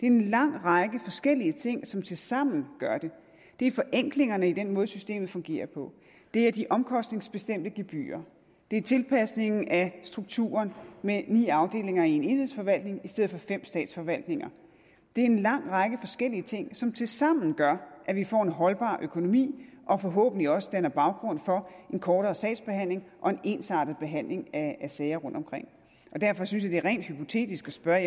en lang række forskellige ting som tilsammen gør det det er forenklingerne i den måde systemet fungerer på det er de omkostningsbestemte gebyrer det er tilpasningen af strukturen med ni afdelinger i en enhedsforvaltning i stedet for fem statsforvaltninger det er en lang række forskellige ting som tilsammen gør at vi får en holdbar økonomi og som forhåbentlig også danner baggrund for en kortere sagsbehandlingstid og en ensartet behandling af sager rundt omkring derfor synes jeg det er rent hypotetisk at spørge